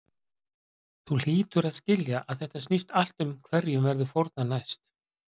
Þú hlýtur að skilja að þetta snýst allt um hverjum verður fórnað næst.